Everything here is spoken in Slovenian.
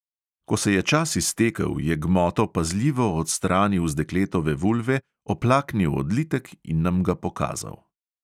Ko se je čas iztekel, je gmoto pazljivo odstranil z dekletove vulve, oplaknil odlitek in nam ga pokazal.